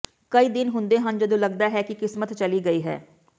ਕਈ ਦਿਨ ਹੁੰਦੇ ਹਨ ਜਦੋਂ ਲੱਗਦਾ ਹੈ ਕਿ ਕਿਸਮਤ ਚਲੀ ਗਈ ਹੈ